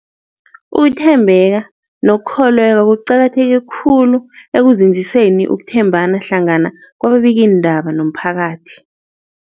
Ukuthembeka nokukholweka kuqakatheke khulu ekunzinziseni ukuthembana hlangana kwababikiindaba nomphakathi.